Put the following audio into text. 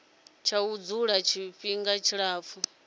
tsha u dzula tshifhinga tshilapfu